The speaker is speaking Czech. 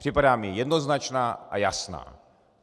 Připadá mi jednoznačná a jasná.